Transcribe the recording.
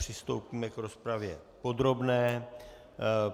Přistoupíme k rozpravě podrobné.